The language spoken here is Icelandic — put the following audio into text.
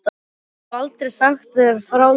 Ég hef aldrei sagt þér frá því.